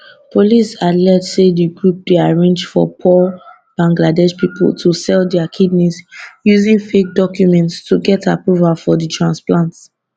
police allege say di group dey arrange for poor bangladesh pipo to sell dia kidneys using fake documents to get approval for di transplants